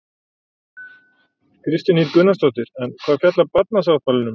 Kristín Ýr Gunnarsdóttir: En hvað fjallar barnasáttmálinn um?